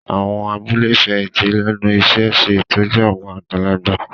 Àwọn abúlé ìfẹ̀yìntì lẹ́nu iṣẹ́ ń ṣe ìtọ́jú àwọn àgbàlagbà